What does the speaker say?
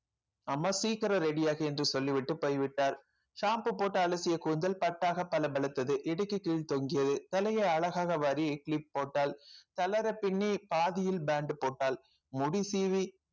அம்மா சீக்கிரம் ready யாகு என்று சொல்லி விட்டு போய்விட்டார் shampoo போட்டு அலசிய கூந்தல் பட்டாக பளபளத்தது இடுக்கு கீழ் தொங்கியது தலையை அழகாக வாரி clip போட்டாள் தளர பின்னி பாதியில் band போட்டாள் முடி சீவி